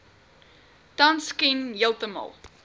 tans ken heeltemal